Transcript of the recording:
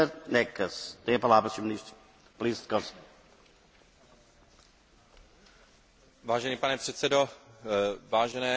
Vážený pane předsedo, vážené paní poslankyně, vážení páni poslanci, chtěl bych poděkovat za tuto velice užitečnou debatu.